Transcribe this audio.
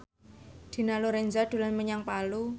Dina Lorenza dolan menyang Palu